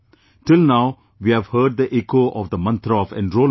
Till now we have heard the echo of the mantra of Enrolment